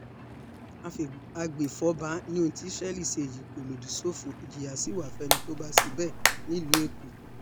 àgbẹ̀fọ́fà ni ohun tí israel ṣe yìí kò lòdì sófin ìjìyà sí wa fẹ́ni tó bá ṣe bẹ́ẹ̀ nílùú èkó